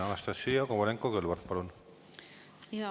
Anastassia Kovalenko-Kõlvart, palun!